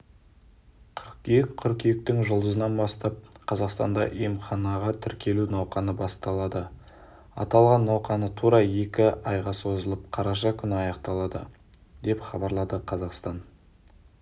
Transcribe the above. қыркүйек қыркүйектің жұлдызынан бастап қазақстанда емханаға тіркелу науқаны басталады аталған науқан тура екі айға созылып қараша күні аяқталады деп хабарлады қазақстан